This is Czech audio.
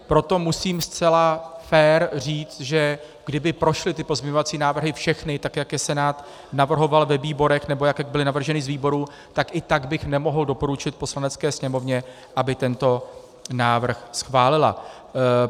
Proto musím zcela fér říct, že kdyby prošly ty pozměňovací návrhy všechny tak, jak je Senát navrhoval ve výborech, nebo jak byly navrženy z výborů, tak i tak bych nemohl doporučit Poslanecké sněmovně, aby tento návrh schválila.